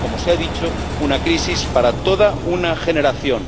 Es, como se ha dicho, una crisis para toda una generación.